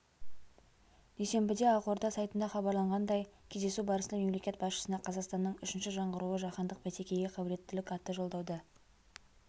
дүйсенбіде ақорда сайтында хабарланғандай кездесу барысында мемлекет басшысына қазақстанның үшінші жаңғыруы жаһандық бәсекеге қабілеттілік атты жолдауды